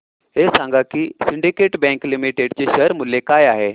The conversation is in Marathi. हे सांगा की सिंडीकेट बँक लिमिटेड चे शेअर मूल्य काय आहे